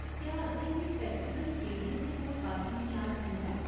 क्या असेंगी festival stadium दे कोल पार्किंग स्लाट मिलदा ऐ ?